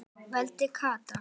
vældi Kata.